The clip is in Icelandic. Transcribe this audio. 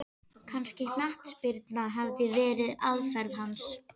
Kannski knattspyrna hafi verið aðferð hans?